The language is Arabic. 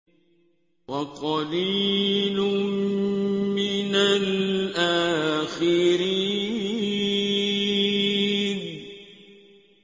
وَقَلِيلٌ مِّنَ الْآخِرِينَ